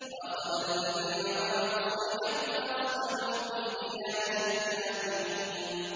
وَأَخَذَ الَّذِينَ ظَلَمُوا الصَّيْحَةُ فَأَصْبَحُوا فِي دِيَارِهِمْ جَاثِمِينَ